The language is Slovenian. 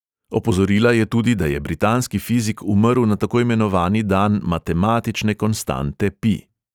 Opozorila je tudi, da je britanski fizik umrl na tako imenovani dan matematične konstante pi.